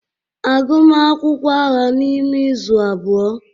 Agụm akwụkwọ agha n'ime izu abụọ.